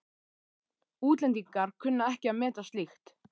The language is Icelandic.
Útlendingar kunna ekki að meta slíkt.